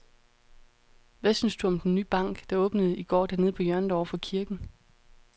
Hvad synes du om den nye bank, der åbnede i går dernede på hjørnet over for kirken?